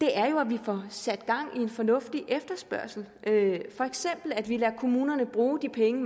er jo at vi får sat gang i en fornuftig efterspørgsel for eksempel at vi lader kommunerne bruge de penge